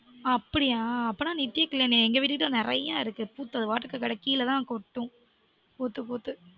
ஆ அப்டியா அப்டினா நித்ய கல்யாணி எங்க வீடு கிட்ட நெரய இருக்கு பூத்து அது பாட்டுக்கு கெடக்கு கிழ தான் கொட்டும் பூத்து பூத்து